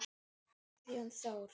Guðjón Þór.